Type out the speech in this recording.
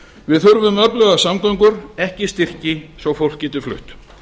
við þurfum öflugar samgöngur ekki styrki svo fólk geti flutt